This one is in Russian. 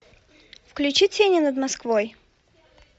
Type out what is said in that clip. включи тени над москвой